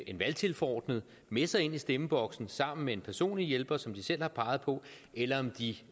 en valgtilforordnet med sig ind i stemmeboksen sammen med en personlig hjælper som de selv har peget på eller om de